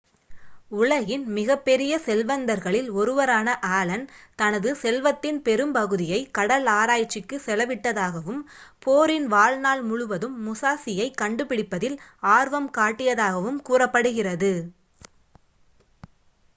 உலகின் மிகப்பெரிய செல்வந்தர்களில் ஒருவரான ஆலன் தனது செல்வத்தின் பெரும்பகுதியை கடல் ஆராய்ச்சிக்கு செலவிட்டதாகவும் போரின் வாழ்நாள் முழுதும் முசாஷியைக் கண்டுபிடிப்பதில் ஆர்வம் காட்டியதாகவும் கூறப்படுகிறது